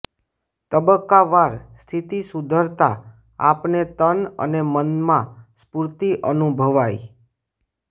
તબક્કાવાર સ્થિતિ સુધરતા આપને તન અને મનમાં સ્ફુર્તિ અનુભવાય